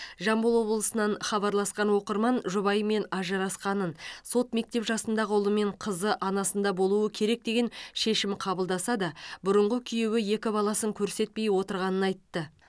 жамбыл облысынан хабарласқан оқырман жұбайымен ажырасқанын сот мектеп жасындағы ұлы мен қызы анасында болуы керек деген шешім қабылдаса да бұрынғы күйеуі екі баласын көрсетпей отырғанын айтты